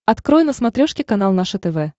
открой на смотрешке канал наше тв